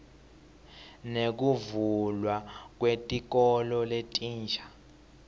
nekuvulwa kwetikolo letinsha